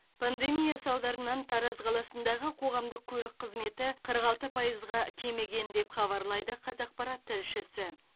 пандемия салдарынан тараз қаласындағы қоғамдық көлік қызметі қырық алты пайызға кеміген деп хабарлайды қазақпарат тілшісі